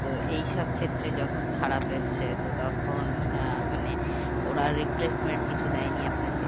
তো এই সব ক্ষেত্রে যখন খারাপ এসছে তো তখন আহ মানেওরা replacement কিছু দেয়নি আপনাকে?